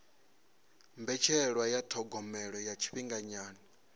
mbetshelwa ya thogomelo ya tshifhinganyana